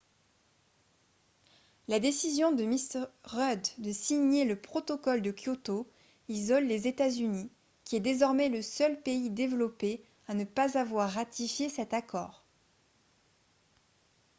la décision de m rudd de signer le protocole de kyoto isole les états-unis qui est désormais le seul pays développé à ne pas avoir ratifié cet accord